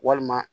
Walima